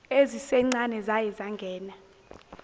ezisencane zaye zangena